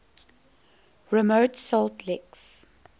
remote salt licks